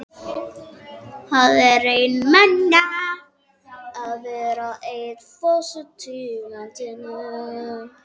Það er einmanalegt að vera eini forsetinn í landinu.